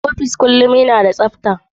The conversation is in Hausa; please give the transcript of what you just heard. Office kullum yana da tsafta.